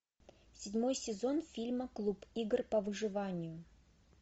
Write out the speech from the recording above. седьмой сезон фильма клуб игр по выживанию